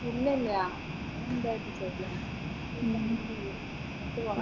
ഇല്ല ഇല്ല അങ്ങനെ എന്തായാലും ചെയ്യില്ല എന്തായാലും ചെയ്യും